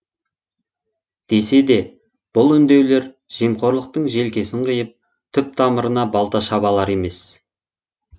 десе де бұл үндеулер жемқорлықтың желкесін қиып түп тамырына балта шаба алар емес